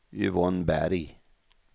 Yvonne Berg